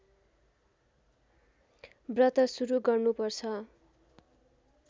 व्रत सुरू गर्नुपर्छ